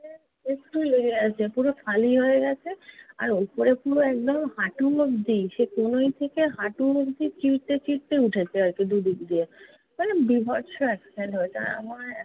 একটু লেগে আছে। পুরো খালি হয়ে গেছে আর উপরে পুরো একদম হাঁটু অব্দি, সে কনুই থেকে হাঁটু অব্দি চিড়তে চিড়তে উঠেছে আর কি দুদিক দিয়ে। মানে বীভৎস accident হয়েছে আর আমার